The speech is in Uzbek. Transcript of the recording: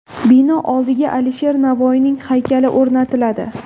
Bino oldiga Alisher Navoiyning haykali o‘rnatiladi.